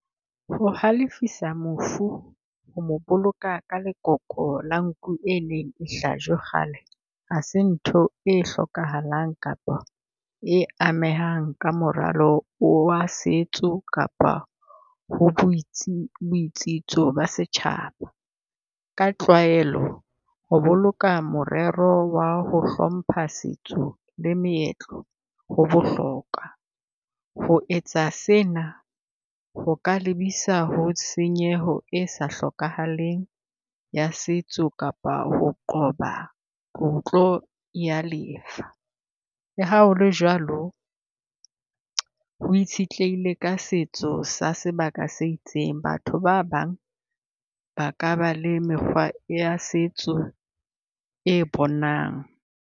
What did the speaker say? O halefisa mofu ho boloka ka lekoko la nku e neng hlajwe kgale, ha se ntho e hlokahalang kapa e amehang ka moralo wa setso kapa ho boitsitso ba setjhaba. Ka tlwaelo ho boloka morero wa ho hlompha setso le meetlo ho bohlokwa. Ho etsa sena ho ka lebisa ho tshenyeho e sa hlokahaleng ya setso kapa ho qoba o tlo ya lefa. Le ha ho le jwalo ho itshitlehile ka setso sa sebaka se itseng, batho ba bang ba ka ba le mekgwa ya setso e bonang.